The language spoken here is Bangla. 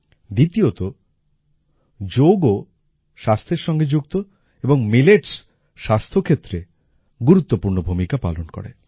দ্বিতীয়তঃ যোগও স্বাস্থ্যের সঙ্গে যুক্ত এবং মিলেটস স্বাস্থ্যক্ষেত্রে গুরুত্বপূর্ণ ভূমিকা পালন করে